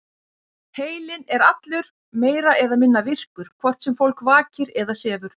Heilinn er allur meira eða minna virkur, hvort sem fólk vakir eða sefur.